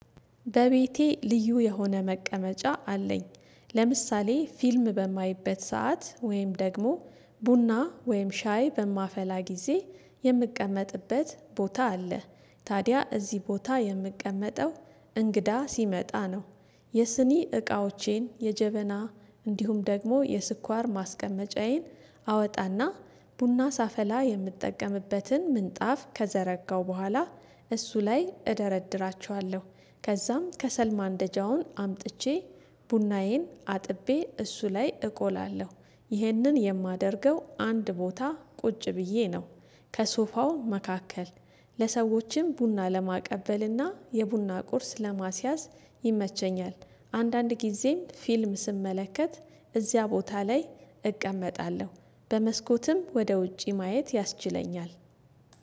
በቤቴ ልዩ የሆነ መቀመጫ አለኝ ለምሳሌ ፊልም በማይበት ሰዓት ወይም ደግሞ ቡና ወይም ሻይ በማፈላ ጊዜ የምቀመጥበት ቦታ አለ። ታዲያ እዚህ ቦታ የምቀመጠው እንግዳ ሲመጣ ነው የስኒ እቃዎቼን የጀበና እንዲሁም ደግሞ የስኳር ማስቀመጫዬን አወጣና ቡና ሳፈላ የምትጠቀምበትን ምንጣፍ ከዘረጋው በኋላ። እሱ ላይ እደረድራቸዋለሁ ከዛም ከሰል ማንደጃውን አምጥቼ ቡናዬን አጥቤ እሱ ላይ እቆላለሁ ይህንን የማደርገው አንድ ቦታ ቁጭ ብዬ ነው ከሶፋው መካከል ለሰዎችም ቡና ለማቀበልና የቡና ቁርስ ለማስያዝ ይመቸኛል። አንዳንድ ጊዜም ፊልም ስመለከት እዚያ ቦታ ላይ እቀመጣለሁ በመስኮትም ወደ ውጪ ማየት ያስችለኛል